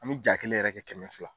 An bɛ ja kelen yɛrɛ kɛ kɛmɛ fila